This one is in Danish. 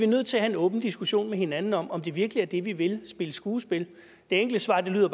nødt til have en åben diskussion med hinanden om om det virkelig er det vi vil spille skuespil det enkle svar lyder